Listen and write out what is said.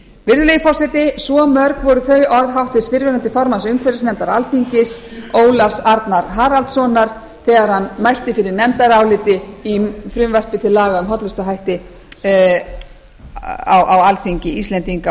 virðulegi forseti svo mörg voru þau orð fyrrverandi formanns umhverfisnefndar alþingis ólafs arnar haraldssonar þegar hann mælti fyrir nefndaráliti um frumvarp til laga um hollustuhætti á alþingi íslendinga á